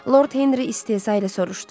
Lord Henri istehza ilə soruşdu.